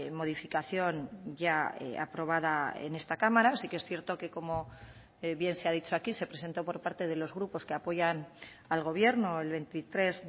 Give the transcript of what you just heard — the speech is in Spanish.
modificación ya aprobada en esta cámara sí que es cierto que como bien se ha dicho aquí se presentó por parte de los grupos que apoyan al gobierno el veintitrés